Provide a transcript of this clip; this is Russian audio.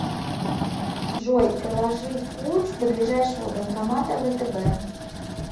джой проложи путь до ближайшего банкомата втб